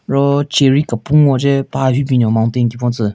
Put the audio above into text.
Ro cherry kepun hoche paha hyu binyon mountain kipon tsü.